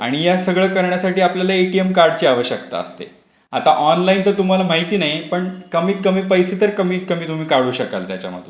आणि या सगळ करण्यासाठी आपल्याला एटीएम कार्डची आवश्यकता असते. आता ऑनलाईन तर तुम्हाला माहिती नाहीआहे. पण कमीत कमी पैसे तर कमीत कमी तुम्ही काढू शकाल त्याच्या मधून.